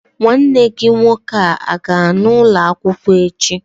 Nwanne gị nwoke a-ga ana ụlọ akwụkwọ echi?